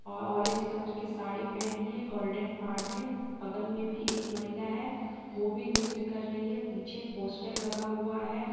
ऑ- orange colour की साड़ी पहनी है गोल्डन पॉड में बगल में भी एक महिला है वह भी वह भी नृत्य कर रही है पीछे पोस्टर लगा हुआ है।